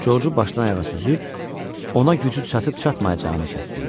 Corcu başdan-ayağa süzüb ona gücü çatıb-çatmayacağını kəstirdi.